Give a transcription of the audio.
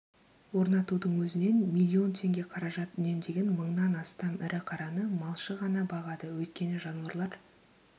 орнатудың өзінен миллион теңге қаражат үнемдеген мыңнан астам ірі қараны малшы ғана бағады өйткені жануарлар